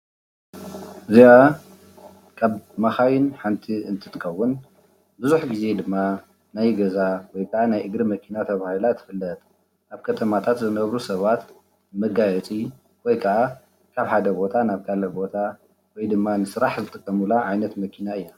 እዚኣ ካብ መካይን ሓንቲ እንትትከውን ቡዝሕ ግዜ ድማ ናይ ገዛ ወይ ከዓ ናይ እግሪ መኪና ተበሂላ ትፍለጥ። ኣብ ከተማታት ዝነብሩ ሰባት መጋየፂ ወይ ከዓ ካብ ሓደ ቦታ ናብ ካልእ ቦታ ወይ ድማ ንስራሕ ዝጥቀሙላ ዓይነት መኪና እያ።